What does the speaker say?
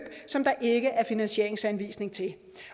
som der ikke er finansieringsanvisning til